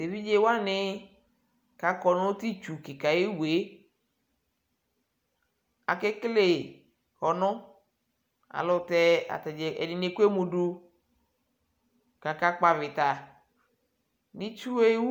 ɛvidzɛ wani kʋ akɔ nʋ tʋ itsʋ kikaa ayiwʋɛ akɛkɛlɛ kɔnʋ alʋtɛ ɛdini ɛkʋɛmʋ dʋ kʋ aka kpɔ avita nʋ itsʋɛ ayiwʋ